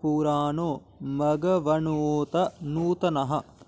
पु॑रा॒णो म॑घव॒न्नोत नूत॑नः